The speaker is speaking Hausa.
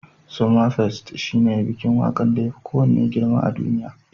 Somafest shine bikin waƙar da yafi kowanne girma a duniya.